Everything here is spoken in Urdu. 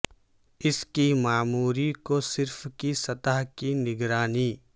اس کی معموری کو صرف کی سطح کی نگرانی